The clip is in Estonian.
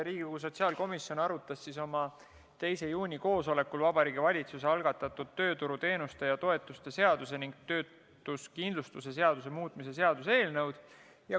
Riigikogu sotsiaalkomisjon arutas oma 2. juuni koosolekul Vabariigi Valitsuse algatatud tööturuteenuste ja -toetuste seaduse ning töötuskindlustuse seaduse muutmise seaduse eelnõu.